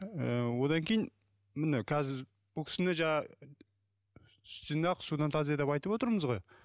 ыыы одан кейін мына қазір бұл кісіні жаңағы сүттен ақ судан таза деп айтып отырмыз ғой